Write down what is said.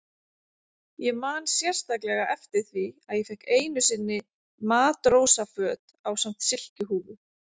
Ég man sérstaklega eftir því að ég fékk einu sinni matrósaföt ásamt silkihúfu.